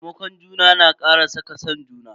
Taimakon juna na kara saka san juna.